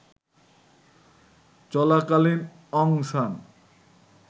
চলাকালীন অং সান